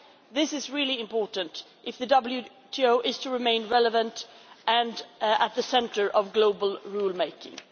This is really important if the WTO is to remain relevant and at the centre of global rule-making.